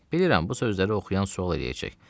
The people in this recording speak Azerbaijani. Bilirəm, bu sözləri oxuyan sual eləyəcək.